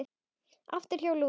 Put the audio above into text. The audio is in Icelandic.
Aftur hjá Lúnu